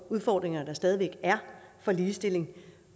udfordringer der stadig væk er for ligestilling